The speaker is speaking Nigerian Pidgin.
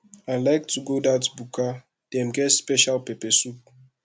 i like to go dat buka dem get special pepper soup